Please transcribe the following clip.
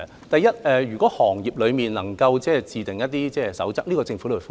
第一，如果行業內能夠自訂一些守則，政府也歡迎。